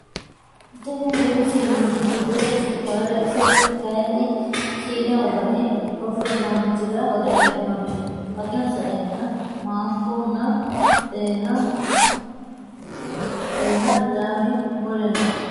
Tinni bunu siineti gidose sukaare ise kayiini siine worani ofolaanchira worre heenonni hakiino sa'eena maanku nna xeena adame mule no.